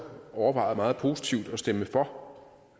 overvejede meget positivt at stemme for